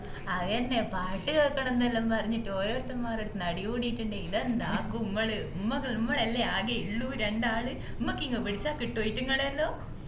അയെന്ന പാട്ട് കേക്കണം നെല്ലു പറഞ്ഞിട്ട് ഓരോരുത്തന്മാരെടുത്തിന്ന് അടികൂടിട്ടുണ്ടെങ്കില് ഇതെന്താകും മ്മള് മ്മളല്ലേ ആകെ ഉള്ളു രണ്ടാള് മ്മക്കിങ് പിടിച്ച കിട്ടുഓ ഈറ്റുങ്ങളെ എല്ലും